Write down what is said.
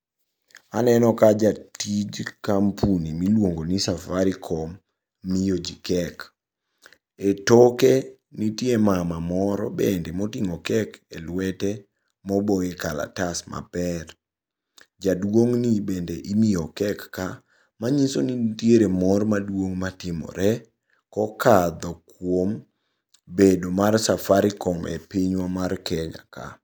Aneno ka jatij kampuni miluongo ni Safaricom miyo ji kek. E toke nitie mama moro bende moting'o kek e lwete moboye kalatas maber. Jaduong' ni bende imiyo kek ka. Manyiso ni nitiere mor maduong' matimore kokadho kuom bedo mar Safarticom e pinywa mar Kenya ka.